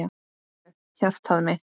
Heyrðu, hjartað mitt.